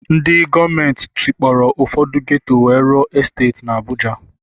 Ndị gọọmenti tikpọrọ Ụfọdụ ghetto wee rụọ esteeti na Abuja